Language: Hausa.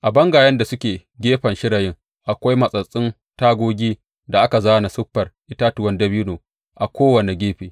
A bangayen da suke gefen shirayin akwai matsattsun tagogi da aka zāna siffar itatuwan dabino a kowane gefe.